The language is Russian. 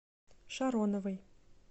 шароновой